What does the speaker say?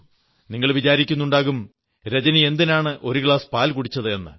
നിങ്ങൾ വിചാരിക്കുന്നുണ്ടാകും രജനി എന്തിനാണ് ഒരു ഗ്ലാസ് പാൽ കുടിച്ചത് എന്ന്